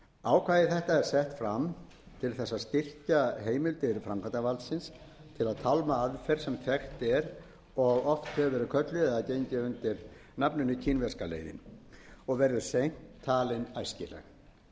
ákvæði þetta er sett fram til þess að styrkja heimildir framkvæmdarvaldsins til að tálma aðferð sem þekkt er og oft hefur verið kölluð eða gengið undir nafninu kínverska leiðin og verður seint talin æskileg